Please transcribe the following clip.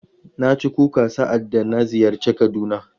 Na ci kuka sa'adda na ziyarci Kaduna.